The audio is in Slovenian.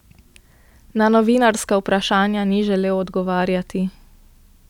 Na novinarska vprašanja ni želel odgovarjati.